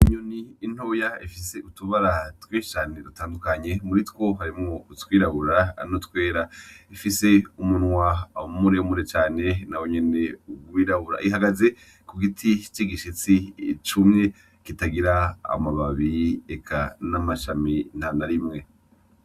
Inyoni ntoya ifise utubara twinshi cane dutandukanye muri two harimwo utwirabura, n'utwera . Ifise umunwa muremure cane nawo nyene wirabura. Ihagaze ku giti c'igishitsi cumye kitagira amababi, eka n'amashami ntanarimwe.